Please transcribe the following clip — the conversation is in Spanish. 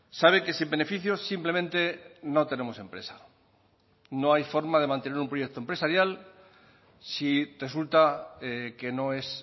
sabe que sin beneficios simplemente no tenemos empresa no hay forma de mantener un proyecto empresarial si resulta que no es